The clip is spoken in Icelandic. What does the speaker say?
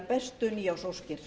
bestu nýársóskir